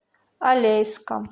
алейском